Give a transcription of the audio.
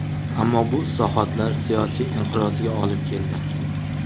Ammo bu islohotlar siyosiy inqirozga olib keldi.